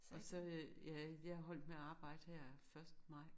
Og så øh ja jeg er holdt med at arbjede her første maj